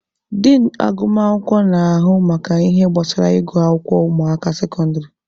Din agụmakwụkwọ na-ahụ maka ihe gbasara ịgụ akwụkwọ ụmụaka sekọndịrị.